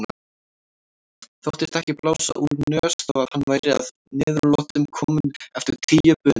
Þóttist ekki blása úr nös þó að hann væri að niðurlotum kominn eftir tíu bunur.